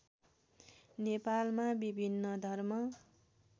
नेपालमा विभिन्न धर्म